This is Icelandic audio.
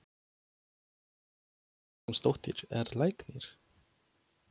Lína Vilhjálmsdóttir er læknir.